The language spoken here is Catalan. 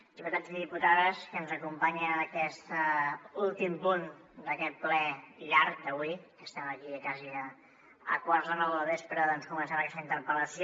diputats i diputades que ens acompanyen en aquest últim punt d’aquest ple llarg d’avui que estem aquí quasi a quarts de nou del vespre doncs començant aquesta interpel·lació